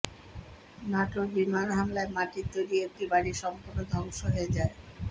ন্যাটোর বিমান হামলায় মাটির তৈরি একটি বাড়ি সম্পূর্ণ ধ্বংস হয়ে যায়